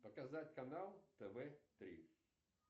показать канал тв три